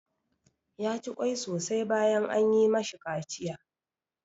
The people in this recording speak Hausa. Ya ci ƙwai sosai bayan an yi ma shi kaciya.